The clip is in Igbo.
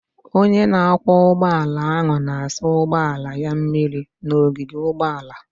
Onye na-akwọ ụgbọala ahụ na-asa ụgbọala ya mmiri n'ogige ụgbọala.